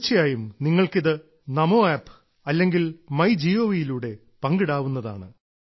തീർച്ചയായും നിങ്ങൾക്കിത് എന്നോടൊപ്പം നമോ ആപ്പ് അല്ലെങ്കിൽ മൈ ഗോവ് യിലൂടെ പങ്കിടാവുന്നതാണ്